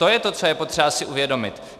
To je to, co je potřeba si uvědomit.